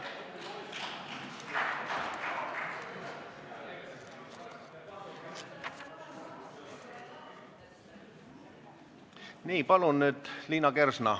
Nii, palun nüüd Liina Kersna!